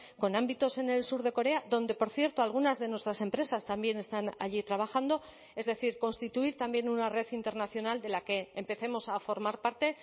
con ámbitos en el sur de corea donde por cierto algunas de nuestras empresas también están allí trabajando es decir constituir también una red internacional de la que empecemos a formar parte